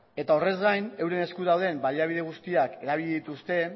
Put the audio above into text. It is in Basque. eta horrez gain euren esku dauden baliabide guztiak erabili dituzte